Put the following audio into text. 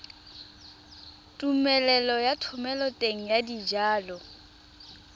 tumelelo ya thomeloteng ya dijalo